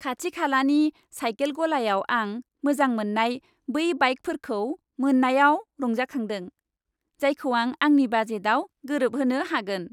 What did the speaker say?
खाथिखालानि cycle गलायाव आं मोजां मोन्नाय बै बाइकफोरखौ मोन्नायाव रंजाखांदों, जायखौ आं आंनि बाजेटआव गोरोबहोनो हागोन।